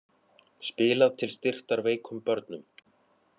Spilað til styrktar veikum börnum